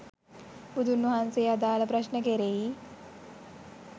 බුදුන් වහන්සේ අදාළ ප්‍රශ්න කෙරෙහි